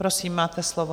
Prosím, máte slovo.